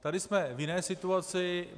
Tady jsme v jiné situaci.